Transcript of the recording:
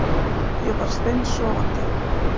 Ég var steinsofandi